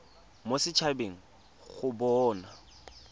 mo set habeng go bona